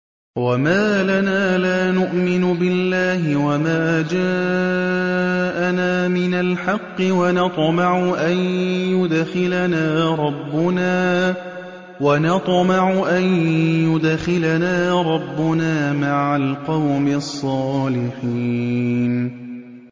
وَمَا لَنَا لَا نُؤْمِنُ بِاللَّهِ وَمَا جَاءَنَا مِنَ الْحَقِّ وَنَطْمَعُ أَن يُدْخِلَنَا رَبُّنَا مَعَ الْقَوْمِ الصَّالِحِينَ